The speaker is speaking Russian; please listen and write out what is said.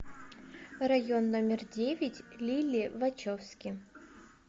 район номер девять лили вачевски